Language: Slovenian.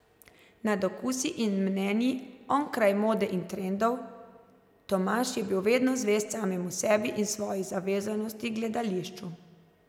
Nad okusi in mnenji, onkraj mode in trendov, Tomaž je bil vedno zvest samemu sebi in svoji zavezanosti Gledališču.